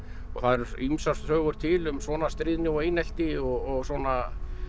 það eru ýmsar sögur til um svona stríðni og einelti og svona